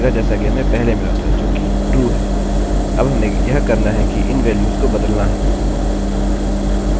यह बिलकुल वही उत्तर प्रदर्शित करेगा जैसा कि हमें पहले मिला था जो कि true है अब हमें यह करना है कि इन वेल्यूस को बदलना हैं